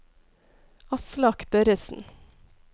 Aslak Børresen